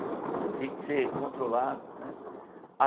Tinha que ser controlado, né?